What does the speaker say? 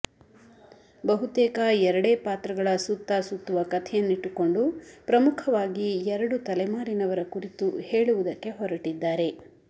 ಬಹುತೇಕ ಎರಡೇ ಪಾತ್ರಗಳ ಸುತ್ತ ಸುತ್ತುವ ಕಥೆಯನ್ನಿಟ್ಟುಕೊಂಡು ಪ್ರಮುಖವಾಗಿ ಎರಡು ತಲೆಮಾರಿನವರ ಕುರಿತು ಹೇಳುವುದಕ್ಕೆ ಹೊರಟಿದ್ದಾರೆ